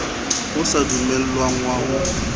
o sa dumellwang wa ho